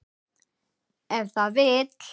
Ef það vill.